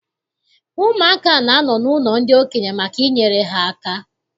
Ụmụaka na-anọ n'ụlọ ndị okenye maka inyere ha aka.